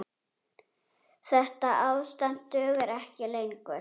Þetta ástand dugar ekki lengur.